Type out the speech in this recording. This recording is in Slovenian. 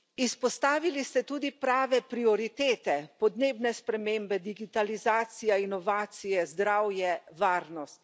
Izpostavili ste tudi prave prioritete podnebne spremembe, digitalizacija, inovacije, zdravje, varnost.